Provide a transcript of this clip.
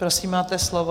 Prosím, máte slovo.